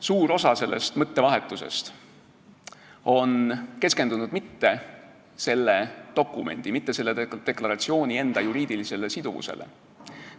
Suur osa sellest mõttevahetusest ei ole keskendunud mitte selle dokumendi, mitte selle deklaratsiooni enda juriidilisele siduvusele.